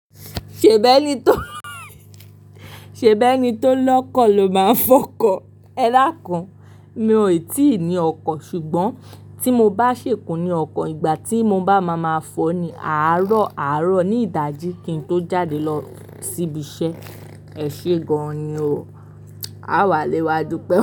Ṣèbẹ́ ni tó, ṣèbẹ́ ni tó lọ́kọ̀ lo máa ń fọkọ. Ẹ dáàkun, mi ò tí ì ní ọkọ̀, ṣùgbọ́n tí mo bá ṣèkú ní ọkọ̀, ìgbà tí mo bá máa ma fọ ni àárọ̀, àárọ̀ ní ìdájí kí n tó jáde lọ síbi iṣẹ́. Ẹ ṣe gan-an ni o. Á wà léwa dúpẹ́.